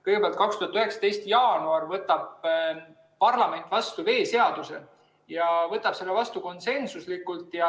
Kõigepealt, 2019. aasta jaanuaris võttis parlament vastu veeseaduse ja võttis selle vastu konsensuslikult.